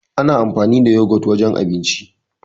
Ana anfani da yagot wajen abinci.